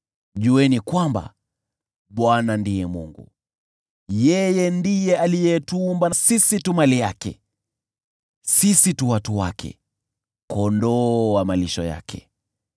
Jueni kwamba Bwana ndiye Mungu. Yeye ndiye alituumba, sisi tu mali yake; sisi tu watu wake, kondoo wa malisho yake.